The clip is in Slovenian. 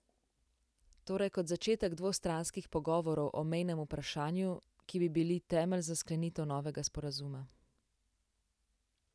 Torej kot začetek dvostranskih pogovorov o mejnem vprašanju, ki bi bili temelj za sklenitev novega sporazuma.